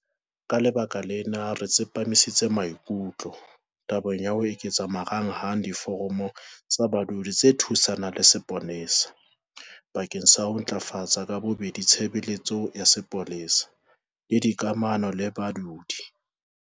Ka lebaka lena, re tsepamisitse maikutlo tabeng ya ho eketsa marangrang a Diforamo tsa Badudi tse Thusanang le Sepolesa bakeng sa ho ntlafatsa ka bobedi tshebeletso ya sepolesa le dikamano le badudi.